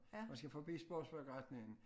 Og skal forbi sportsforretningen